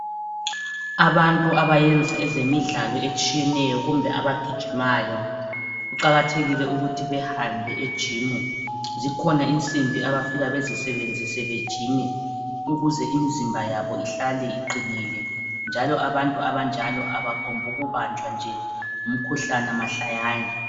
Abantu abayenza ezemidlalo etshiyeneyo kumbe abagijimayo, kuqakathekile ukuthi behambe ejimu . Zikhona insimbi abafika bazisebenzise bejime ukuze imizimba yabo ihlale iqinile. Njalo abantu abanjalo abangombukubanjwa nje ngumkhuhlane mahlayana.